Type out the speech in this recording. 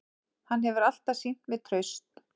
Hann hefur alltaf sýnt mér traust